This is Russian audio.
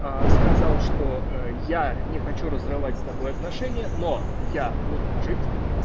сказал что я не хочу разрывать с тобой отношения но я буду жить